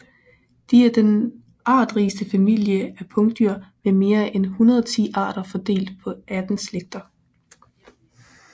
De er den artsrigeste familie af pungdyr med mere end 110 arter fordelt på 18 slægter